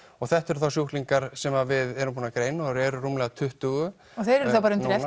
þetta eru þá sjúklingar sem við erum búin að greina og þeir eru rúmlega tuttugustu og þeir eru þá bara undir